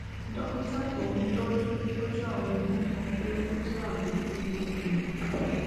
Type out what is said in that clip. dókítà tó ń tọjú tọjú àwọn eegun sọ pé ó jẹ àbùkù okùn